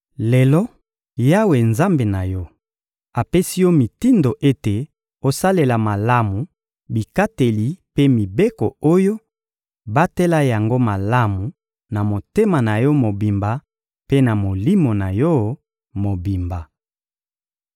Lelo, Yawe, Nzambe na yo, apesi yo mitindo ete osalela malamu bikateli mpe mibeko oyo; batela yango malamu na motema na yo mobimba mpe na molimo na yo mobimba.